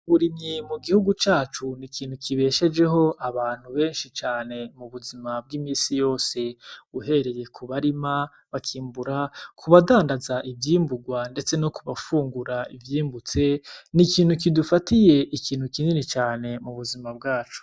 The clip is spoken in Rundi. Uburimyi mu gihugu cacu ni ikintu kibeshejeho abantu benshi cane mu buzima bw'iminsi yose, uhereye ku barima bakimbura, ku badandaza ivyimburwa ndetse no kubafungura ivyimbutse. Ni ikintu kidufatiye ikintu kinini cane mu buzima bwacu.